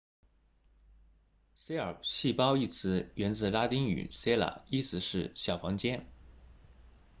cell 细胞一词源自拉丁语 cella 意思是小房间